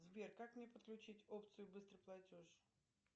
сбер как мне подключить опцию быстрый платеж